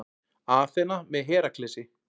Aþena með Heraklesi.